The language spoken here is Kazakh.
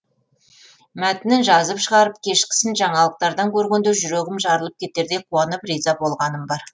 мәтінін жазып шығарып кешкісін жаңалықтардан көргенде жүрегім жарылып кетердей қуанып риза болғаным бар